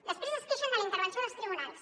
després es queixen de la intervenció dels tribunals